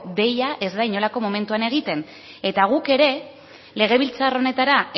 deia ez da inolako momentuan egiten eta guk ere legebiltzar honetara